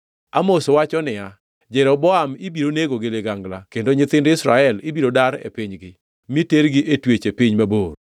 Amos wacho niya, “ ‘Jeroboam ibiro nego gi ligangla kendo nyithind Israel ibiro dar e pinygi, mi tergi e twech e piny mabor.’ ”